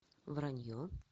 вранье